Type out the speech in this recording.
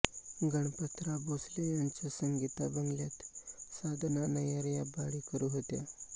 गणपतराव भोसले यांच्या संगीता बंगल्यात साधना नय्यर या भाडेकरू होत्या